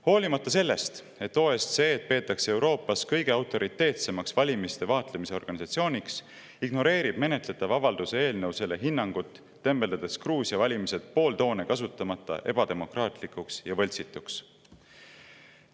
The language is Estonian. Hoolimata sellest, et OSCE-d peetakse Euroopas kõige autoriteetsemaks valimiste vaatlemise organisatsiooniks, ignoreerib menetletav avalduse eelnõu selle hinnangut, tembeldades Gruusia valimised pooltoone kasutamata ebademokraatlikuks ja võltsituks.